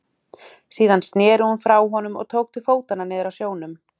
Síðan sneri hún frá honum og tók til fótanna niður að sjónum.